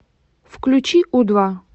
включи у два